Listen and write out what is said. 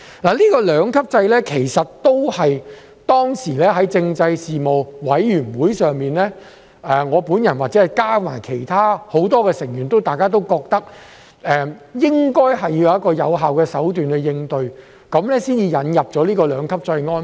就這個兩級制，其實當時在政制事務委員會上，我本人加上很多委員都認為，政府應該是為了有一個有效的手段應對"起底"行為，所以才引入這個兩級制安排。